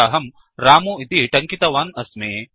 अत्राहं रमु इति टङ्कितवान् अस्मि